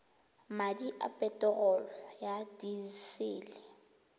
madi a peterolo ya disele